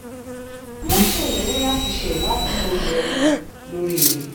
wọ́n ṣèlérí láti ṣe ìwádìí tó yẹ lórí rẹ̀